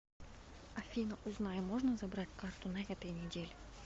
афина узнай можно забрать карту на этой неделе